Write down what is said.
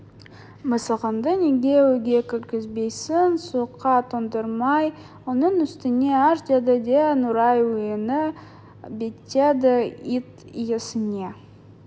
мысығыңды неге үйге кіргізбейсің суыққа тоңдырмай оның үстіне аш деді де нұрай үйіне беттеді ит иесіне